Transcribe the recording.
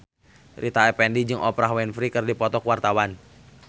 Rita Effendy jeung Oprah Winfrey keur dipoto ku wartawan